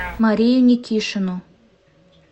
марию никишину